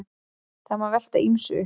Það má velta ýmsu upp.